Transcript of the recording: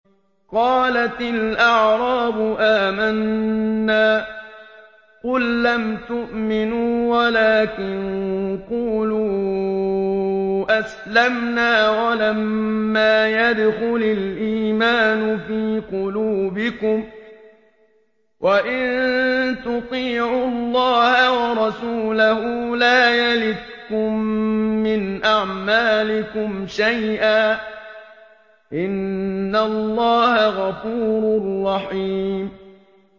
۞ قَالَتِ الْأَعْرَابُ آمَنَّا ۖ قُل لَّمْ تُؤْمِنُوا وَلَٰكِن قُولُوا أَسْلَمْنَا وَلَمَّا يَدْخُلِ الْإِيمَانُ فِي قُلُوبِكُمْ ۖ وَإِن تُطِيعُوا اللَّهَ وَرَسُولَهُ لَا يَلِتْكُم مِّنْ أَعْمَالِكُمْ شَيْئًا ۚ إِنَّ اللَّهَ غَفُورٌ رَّحِيمٌ